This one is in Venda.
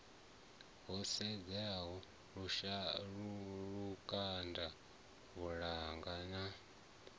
ho sedziwa lukanda muvhala na